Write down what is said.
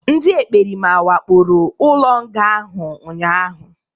Ndị ekperima wakporo ụlọ nga ahụ ụnyaahụ